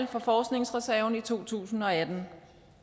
forskningsreserven i to tusind og atten